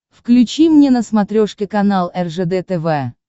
включи мне на смотрешке канал ржд тв